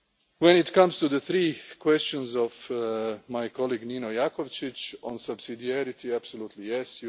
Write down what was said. in mind. When it comes to the three questions of my colleague Nino Jakovčić on subsidiarity, absolutely